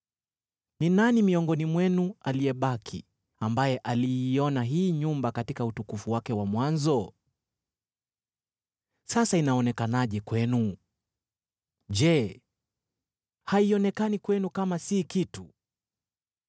‘Ni nani miongoni mwenu aliyebaki ambaye aliiona hii nyumba katika utukufu wake wa mwanzo? Sasa inaonekanaje kwenu? Je, haionekani kwenu kama si kitu?